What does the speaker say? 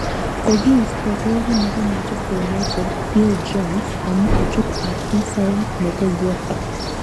Kokiisto beki nebo manchester united phil jones amu kochub afisayat ab uefa